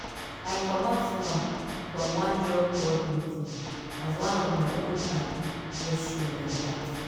i comot small from one job board meeting as one of my old padi just show like that.